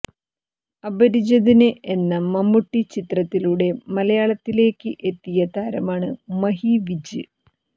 അപരിചിതന് എന്ന മമ്മൂട്ടി ചിത്രത്തിലൂടെ മലയാളത്തിലേയ്ക്ക് എത്തിയ താരമാണ് മഹി വിജ്